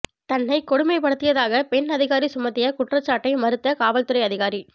தன்னை கொடுமைப்படுத்தியதாக பெண் அதிகாரி சுமத்திய குற்றச்சாட்டை மறுத்த காவல்துறை அதிகாரி